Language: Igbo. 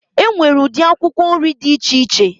E nwere ụdị akwụkwọ nrị dị iche iche